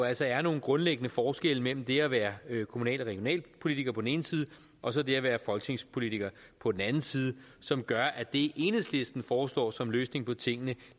altså er nogle grundlæggende forskelle mellem det at være kommunal og regionalpolitiker på den ene side og så det at være folketingspolitiker på den anden side som gør at det enhedslisten foreslår som løsning på tingene